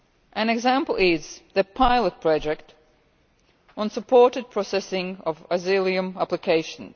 An example is the pilot project on supported processing of asylum applications.